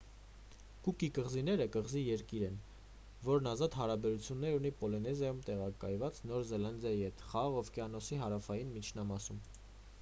կուկի կղզիները կղզի-երկիր են որն ազատ հարաբերություններ ունի պոլինեզիայում տեղակայված նոր զելանդիայի հետ խաղաղ օվկիանոսի հարավային միջնամասում